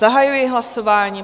Zahajuji hlasování.